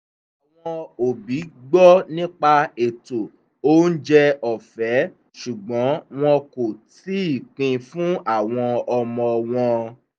àwọn òbí gbọ́ nípa ètò oúnjẹ ọ̀fẹ́ ṣùgbọ́n wọ́n kò tíì pin fún àwọn ọmọ wọn